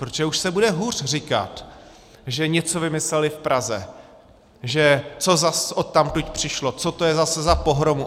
Protože už se bude hůř říkat, že něco vymysleli v Praze, že co zas odtud přišlo, co to je zase za pohromu.